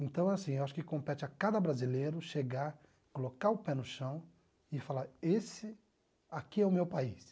Então, assim, acho que compete a cada brasileiro chegar, colocar o pé no chão e falar, esse aqui é o meu país.